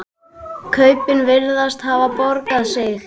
Kaupin virðast hafa borgað sig.